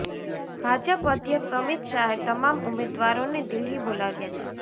ભાજપ અધ્યક્ષ અમિત શાહે તમામ ઉમેદવારોને દિલ્હી બોલાવ્યા છે